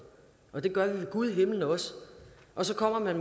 og det gør vi ved gud i himlen også og så kommer man